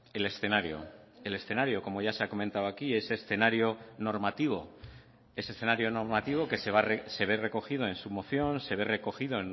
el escenario el escenario como ya se ha comentado aquí ese escenario normativo ese escenario normativo que se ve recogido en su moción se ve recogido